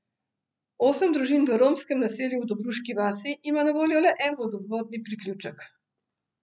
Osem družin v romskem naselju v Dobruški vasi ima na voljo le en vodovodni priključek.